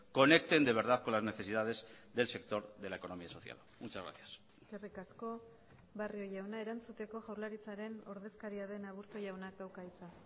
conecten de verdad con las necesidades del sector de la economía social muchas gracias eskerrik asko barrio jauna erantzuteko jaurlaritzaren ordezkaria den aburto jaunak dauka hitza